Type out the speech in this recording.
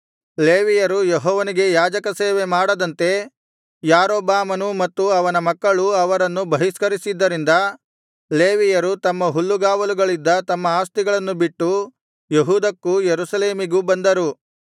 ಲೇವಿಯರು ಯೆಹೋವನಿಗೆ ಯಾಜಕ ಸೇವೆ ಮಾಡದಂತೆ ಯಾರೊಬ್ಬಾಮನೂ ಮತ್ತು ಅವನ ಮಕ್ಕಳೂ ಅವರನ್ನು ಬಹಿಷ್ಕರಿಸಿದ್ದರಿಂದ ಲೇವಿಯರು ತಮ್ಮ ಹುಲ್ಲುಗಾವಲುಗಳಿದ್ದ ತಮ್ಮ ಆಸ್ತಿಗಳನ್ನು ಬಿಟ್ಟು ಯೆಹೂದಕ್ಕೂ ಯೆರೂಸಲೇಮಿಗೂ ಬಂದರು